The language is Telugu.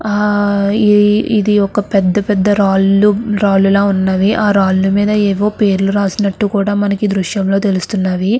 ఆ ఇది ఒక పెద్ద పెద్ద రాళ్లు రాళ్లు లా ఉన్నవి. ఆ రాళ్ళ మీద ఏమో పేర్లు రాసినట్టు కూడా మనకి దృశ్యంలో తెలుస్తుంది.